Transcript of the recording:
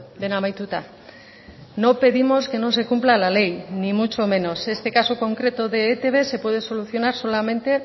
dena amaituta no pedimos que no se cumpla la ley ni mucho menos este caso concreto de etb se puede solucionar solamente